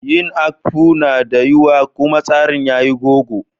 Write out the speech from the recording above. Yin Akpu na da wiya kuma tsarin yayi gogo.